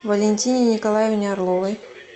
валентине николаевне орловой